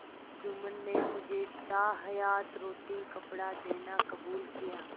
जुम्मन ने मुझे ताहयात रोटीकपड़ा देना कबूल किया